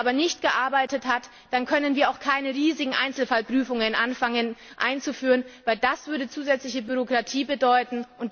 Wenn er aber nicht gearbeitet hat, dann können wir auch nicht anfangen, riesige Einzelfallprüfungen einzuführen, denn das würde zusätzliche Bürokratie bedeuten.